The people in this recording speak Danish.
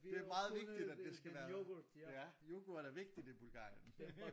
Det meget vigtigt at det skal være ja yoghurt er vigtigt i Bulgarien